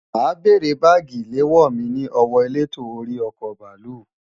Ma bèrè bagi ilewo mi ni owo eleto ori oko baalu.